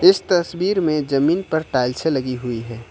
इस तस्वीर में जमीन पर टाइल्से लगी हुई हैं।